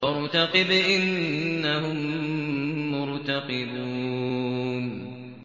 فَارْتَقِبْ إِنَّهُم مُّرْتَقِبُونَ